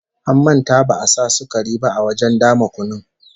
An manta ba'a sa sukari ba a wajen dama kunun